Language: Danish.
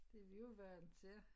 Det vi jo vandt til